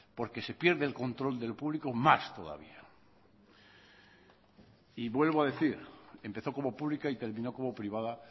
porque se pierde el control de lo público más todavía y vuelvo a decir empezó como pública y terminó como privada